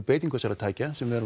beitingu þessara tækja sem er